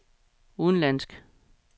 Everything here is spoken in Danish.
udenlandsk